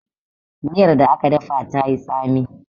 miyar da aka dafa ta yi tsami